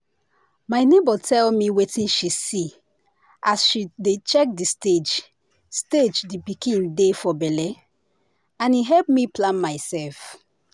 my neighbour tell me wetin she see as she dey check the stage stage the pikin dey for belle and e help me plan myself.